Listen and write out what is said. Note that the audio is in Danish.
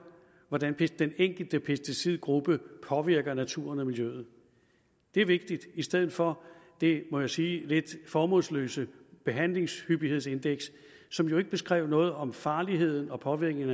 hvordan den enkelte pesticidgruppe påvirker naturen og miljøet det er vigtigt i stedet for det må jeg sige lidt formålsløse behandlingshyppighedsindeks som jo ikke beskrev noget om farligheden og påvirkningen